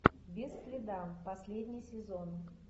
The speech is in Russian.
без следа последний сезон